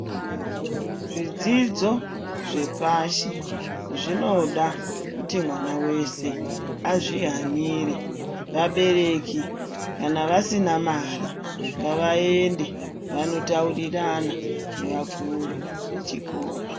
Zvidzidzo zvepashi zvinoda kuti mwana weshe azvihanire, vabereki kana vasina mari ngavaende vanotaurirana ngevakuru vechikora.